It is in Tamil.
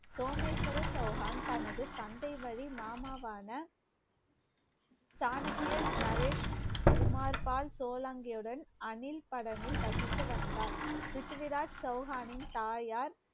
சோமேஸ்வர சௌகான் தனது தந்தை வழி மாமாவான சாணக்கியன், நரேஷ், குமார், பால், சோளங்கையுடன், அணில்படனில் வசித்து வந்தார். பிருத்திவிராஜ் சௌகானின் தாயார்